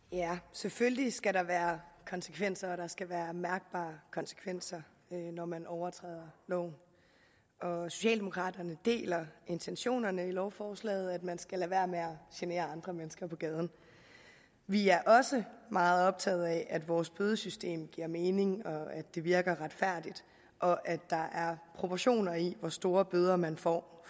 selvfølgelig skal der være konsekvenser og der skal være mærkbare konsekvenser når man overtræder loven socialdemokraterne deler intentionerne i lovforslaget om at man skal lade være med at genere andre mennesker på gaden vi er også meget optaget af at vores bødesystem giver mening at det virker retfærdigt og at der er proportioner i hvor store bøder man får